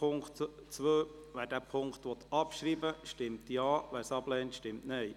Wer den Punkt 2 abschreiben will, stimmt Ja, wer dies ablehnt, stimmt Nein.